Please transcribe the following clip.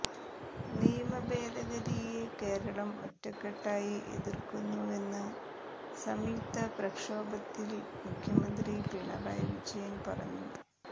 നിയമഭേദഗതിയെ കേരളം ഒറ്റക്കെട്ടായി എതിർക്കുന്നുവെന്ന് സംയുക്ത പ്രക്ഷോഭത്തിൽ മുഖ്യമന്ത്രി പിണറായി വിജയൻ പറഞ്ഞു